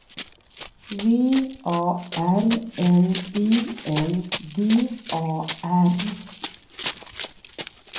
V A R N I N G A R